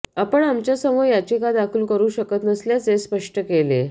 आपण आमच्यासमोर याचिका दाखल करु शकत नसल्याचे स्पष्ट केले